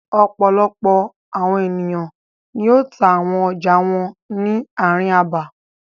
Ọ̀pọ̀lọpọ̀ àwọn ènìyàn ni yóò ta àwọn ọjà wọn ni ààrin abà.